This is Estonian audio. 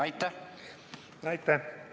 Aitäh!